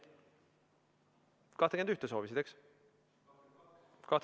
Ettepanekut nr 21 soovisid, eks?